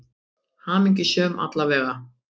Hamingjusöm, alla vega.